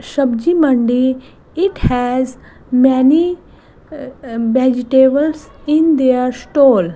sabji mandi it has many ah ah vegetables in their stall.